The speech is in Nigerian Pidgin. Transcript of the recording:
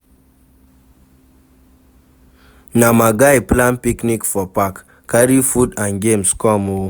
Na my guy plan picnic for park, carry food and games come o.